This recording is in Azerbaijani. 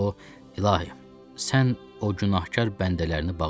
"İlahi, sən o günahkar bəndələrini bağışla!"